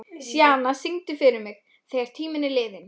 Sjana, syngdu fyrir mig „Þegar tíminn er liðinn“.